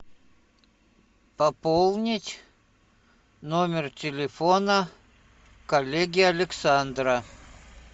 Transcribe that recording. пополнить номер телефона коллеги александра